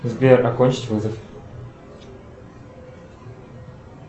сбер окончить вызов